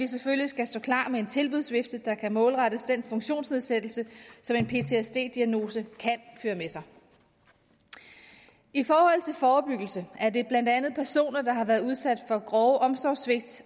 selvfølgelig stå klar med en tilbudsvifte der kan målrettes den funktionsnedsættelse som en ptsd diagnose kan føre med sig i forhold til forebyggelse er det blandt andet personer der har været udsat for grove omsorgssvigt